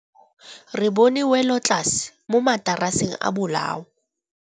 Re bone wêlôtlasê mo mataraseng a bolaô.